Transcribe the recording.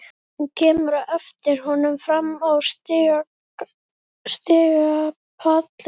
Hún kemur á eftir honum fram á stigapallinn.